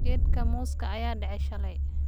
Geedka mooska ayaa dhacay shalay.